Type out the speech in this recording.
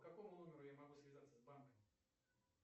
по какому номеру я могу связаться с банками